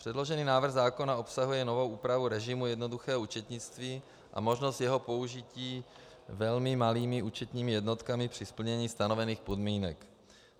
Předložený návrh zákona obsahuje novou úpravu režimu jednoduchého účetnictví a možnost jeho použití velmi malými účetními jednotkami při splnění stanovených podmínek.